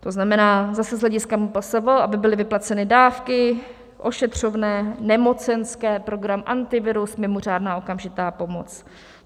To znamená zase z hlediska MPSV, aby byly vyplaceny dávky, ošetřovné, nemocenské, program Antivirus, mimořádná okamžitá pomoc.